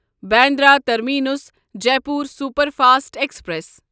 Bandra terminus Jaipur superfast express